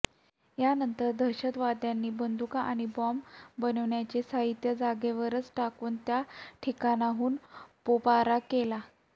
यानंतर दहशतवाद्यांनी बंदुका आणि बॉम्ब बनवण्याचे साहित्य जागेवरच टाकून त्या ठिकाणाहून पोबारा केला